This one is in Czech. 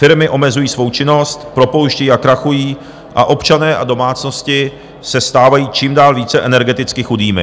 Firmy omezují svou činnost, propouštějí a krachují a občané a domácnosti se stávají čím dál více energeticky chudými.